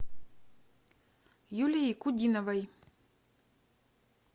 юлией кудиновой